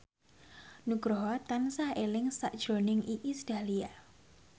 Nugroho tansah eling sakjroning Iis Dahlia